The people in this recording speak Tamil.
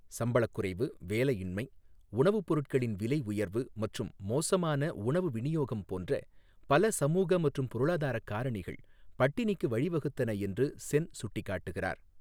சம்பளக் குறைவு, வேலையின்மை, உணவுப் பொருட்களின் விலை உயர்வு மற்றும் மோசமான உணவு விநியோகம் போன்ற பல சமூக மற்றும் பொருளாதார காரணிகள் பட்டினிக்கு வழிவகுத்தன என்று சென் சுட்டிக் காட்டுகிறார்.